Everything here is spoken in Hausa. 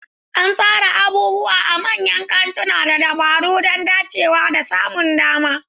An tsara abubuwa a manyan kantunan da dabaru don dacewa da samun dama.